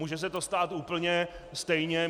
Může se to stát úplně stejně.